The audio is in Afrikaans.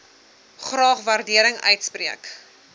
graag waardering uitspreek